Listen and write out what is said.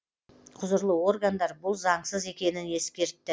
құзырлы органдар бұл заңсыз екенін ескертті